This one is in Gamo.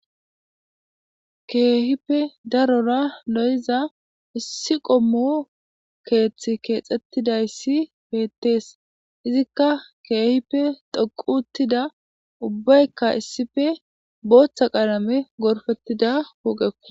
Kehipe daro loiza issi qomo kethi kexetidayis betes izika kehipe dhoqi utida ubayika issipe botha qalamen goripetida Poqeko